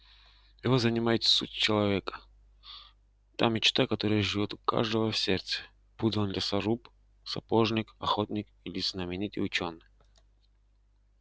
его занимает суть человека та мечта которая живёт у каждого в сердце будь он лесоруб сапожник охотник или знаменитый учёный